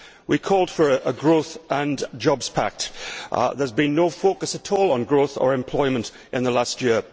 We called for a growth and jobs pact. There has been no focus at all on growth or employment in the last year.